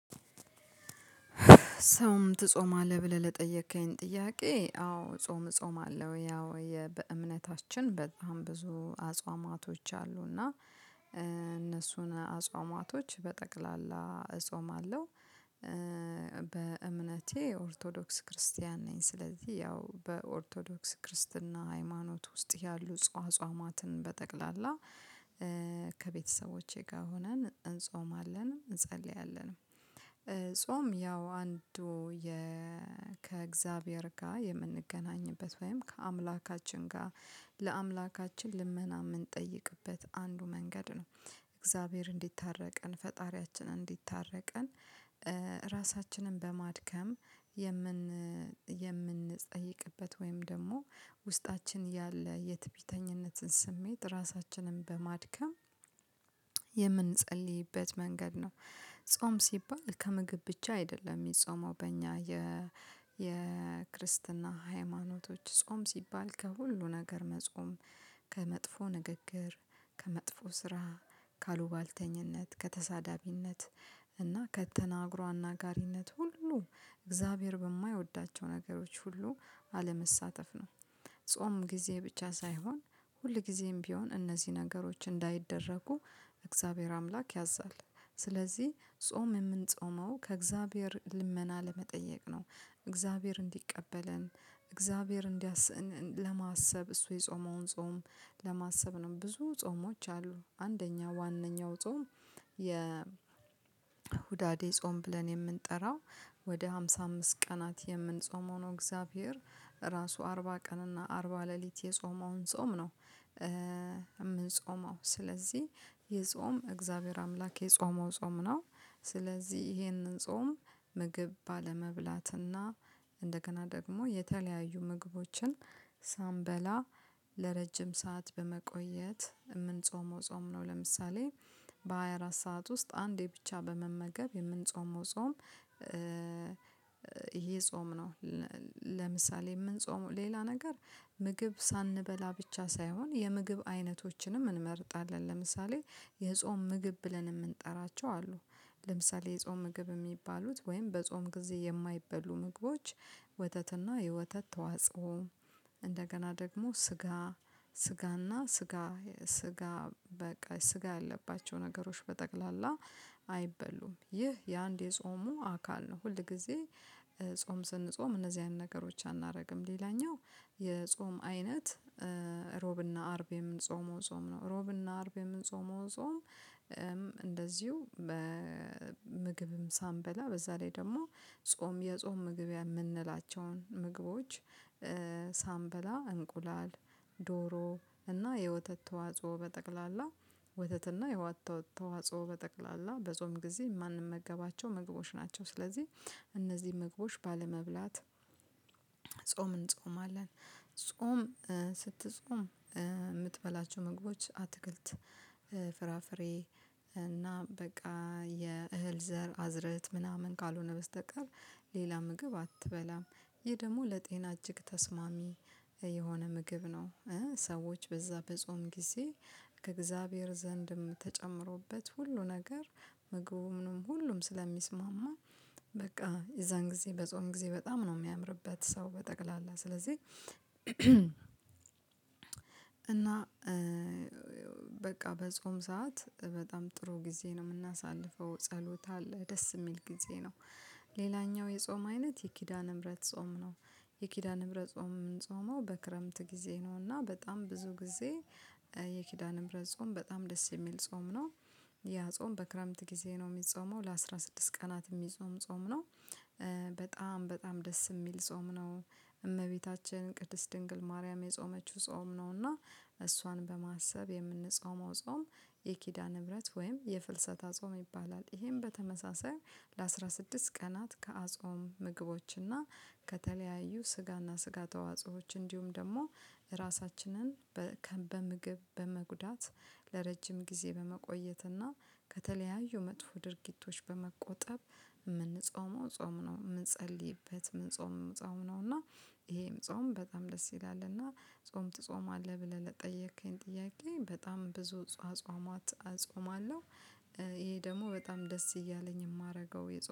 ጾም ትጾማለህ ብለህ ለጠየከኝ ጥያቄ አዎ ጾም ጾም አለው ያው የ በእምነታችን በጣም ብዙ አጽዋማቶች አሉና እነሱን አጽዋማቶች በጠቅላላ እጾማለሁ። በእምነቴ ኦርቶዶክስ ክርስቲያን ነኝ። ስለዚህ ያው በኦርቶዶክስ ክርስትና ሃይማኖት ውስጥ ያሉ አጽዋማትን በጠቅላላ ከቤተሰቦቼ ጋር ሆነን እንጾም አለን እንጸልያለንም። ጾም ያው አንዱ ከእግዚአብሔር ጋር የምንገናኝበት ወይም ከአምላካችን ጋር ለአምላካችን ልመና የምንጠይቅበት አንዱ መንገድ ነው። እግዚአብሔር እንዲታረቀን ፈጣሪያችን እንዲታረቀን ራሳችንን በማድከም የምን የምንጠይቅበት ወይም ደግሞ ውስጣችን ያለ የትቢተኝነትን ስሜት ራሳችንን በማድከም የምንጸልይበት መንገድ ነው። ጾም ሲባል ከምግብ ብቻ አይደለም የሚጾመው በእኛ የ የክርስትና ሃይማኖቶች ጾም ሲባል ከሁሉ ነገር መጾም ከመጥፎ ንግግር ከመጥፎ ስራ ካሉባልተኝነት ከተሳዳቢነት እና ከተናግሮ አናጋሪነት ሁሉ እግዚአብሔር በማይወዳቸው ነገሮች ሁሉ አለመሳተፍ ነው። ጾም ጊዜ ብቻ ሳይሆን ሁል ጊዜም ቢሆን እነዚህ ነገሮች እንዳይደረጉ እግዚአብሔር አምላክ ያዛል። ስለዚህ ጾም የምንጾመው ከእግዚአብሔር ልመና ለመጠየቅ ነው። እግዚአብሔር እንዲቀበለን እግዚአሔር እንደስ ለማሰብ እሱ የጾመውን ጾም ለማሰብ ነው። ብዙ ጾሞች አሉ አንደኛው ዋናው ጾም የሁዳዴ ጾም ብለን የምንጠራው ወደ ሃምሳ አምስት ቀናት የምንጾም ነው። እግዚአብሔር ራሱ አርባ ቀን እና አርባ ሌሊት የጾመውን ጾም ነው። የምንጾመው ስለዚህ ይህ የጾም እግዚአብሔር አምላክ የጾመው ጾም ነው። ስለዚህ ይሄንን ጾም ምግብ ባለመብላትና እንደገና ደግሞ የተለያዩ ምግቦችን ሳንበላ ለረጅም ሰዓት በመቆየት ምንጾመው ጾም ነው። ለምሳሌ በሃያ አራት ሰዓት ውስጥ አንዴ ብቻ በመመገብ የምንጾመው ጾም ይሄ ጾም ነው። ለምሳሌ ምንጾመው ሌላ ነገር ምግብ ሳንበላ ብቻ ሳይሆን የምግብ አይነቶችንም እንመርጣለን ለምሳሌ የጾም ምግብ ብለን የምንጠራቸው አሉ። ለምሳሌ የጾም ምግብ የሚባሉት ወይም በጾም ጊዜ የማይበሉ ምግቦች ወተትና የወተት ተዋጽኦ እንደገና ደግሞ ስጋ ስጋና ስጋ ስጋ በቃ ስጋ ያለባቸው ነገሮች በጠቅላላ አይበሉም ይህ የአንድ የጾሙ አካል ነው። ሁል ጊዜ ጾም ስንጾም እነዚህ አይነት ነገሮች አናርግም። ሌላኛው የጾም አይነት እብና አርብ የምንጾመው ጾም ነው ሮብና አርብ የምንጾመው ጾም። እንደዚሁ በምግብም ሳንበላ በዛ ላይ ደግሞ ጾም የጾም ምግቢያ የምንላቸውን ምግቦች ሳንበላ እንቁላል ዶሮ እና የወተት ተዋጽኦ በጠቅላላ ወተት እና የወተት ተዋጽኦ በጠቅላላ በጾም ጊዜ የማንመገባቸው ምግቦች ናቸው። ስለዚህ እነዚህ ምግቦች ባለመብላት እንጾማለን። ጾም ስትጾም የምትበላቸው ምግቦች አትክልት ፍራፍሬ እና በቃ የእህል ዘር አዝርዕት ምናምን ካልሆነ በስተቀር ሌላ ምግብ አትበላም። ይህ ደግሞ ለጤና እጅግ ተስማሚ የሆነ ምግብ ነው። ሰዎች በዛ በጾም ጊዜ ከእግዚአብሔር ዘንድም ተጨምሮበት ሁሉ ነገር ምግቡ ምንም ሁሉም ስለሚስማማ በቃ የዛን ጊዜ በጾም ጊዜ በጣም ነው የሚያምርበት ሰው በጠቅላላ ስለዚህ። እና በቃ በጾም ሰዓት በጣም ጥሩ ጊዜ ነው የምናሳልፈው ጸሎት አለ ደስ የሚል ጊዜ ነው። ሌላኛው የጾም አይነት የኪዳነ ምህረት ጾም ነው። የኪዳነ ምህረት ጾም የምንጾመው በክረምት ጊዜ ነውና በጣም ብዙ ጊዜ የኪዳንም ረጾም በጣም ደስ የሚል ጾም ነው። ያ ጾም በክረምት ጊዜ ነው የሚጾመው ለአስራ ስድስት ቀናት የሚጾም ጾም ነው። በጣም በጣም ደስ የሚል ጾም ነው። እመቤታችን ቅድስት ድንግል ማርያም የጾመችው ጾም ነው እና እሷን በማሰብ የምንጾመው ጾም የኪዳነ ምህረት ወይም የፍልሰታ ጾም ይባላል። ይሄም በተመሳሳይ ለአስራ ስድስት ቀናት ከአጾም ምግቦች እና ከተለያዩ ስጋና ስጋ ተዋጽኦዎች እንዲሁም ደግሞ ራሳችንን በምግብ በመጉዳት ለረጅም ጊዜ በመቆየት እና ከተለያዩ መጥፎ ድርጊቶች በመቆጠብ ምንጾመው ጾም ነው። የምንጸልይበት ምንጾመው ጾም ነው። እና ይሄም ጾም በጣም ደስ ይላል። እና ጾም ትጾማለህ ብለህ ለጠየከኝ ጥያቄ? በጣም ብዙ አጽዋማት እጾማለው። ይሄ ደግሞ በጣም ደስ እያለኝ የማደርገው